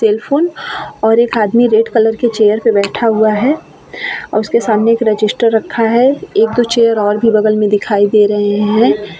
Telephone और एक आदमी रेड कलर के चेयर पर बैठा हुआ है और उसके सामने एक रजिस्टर रखा है एक-दो चेयर और भी बगल में दिखाई दे रहे हैं।